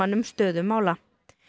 um stöðu mála